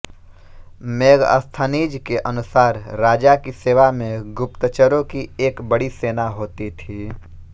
Megasthenes के अनुसार राजा की सेवा में गुप्तचरों की एक बड़ी सेना होती थी